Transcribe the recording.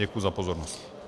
Děkuji za pozornost.